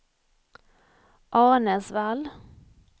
Arnäsvall